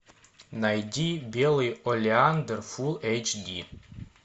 найди белый олеандр фулл эйч ди